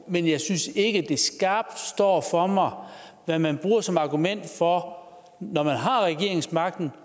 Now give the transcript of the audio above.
men jeg synes ikke det skarpt står for mig hvad man bruger som argument for når man har regeringsmagten